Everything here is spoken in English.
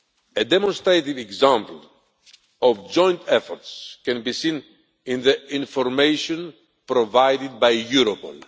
A demonstrative example of joint efforts can be seen in the information provided by Europol.